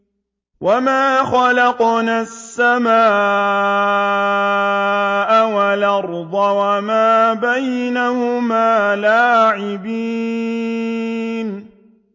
وَمَا خَلَقْنَا السَّمَاءَ وَالْأَرْضَ وَمَا بَيْنَهُمَا لَاعِبِينَ